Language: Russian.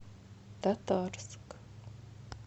татарск